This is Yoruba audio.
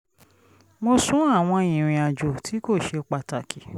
mo sún àwọn ìrìnàjò tí kò ṣe pàtàkì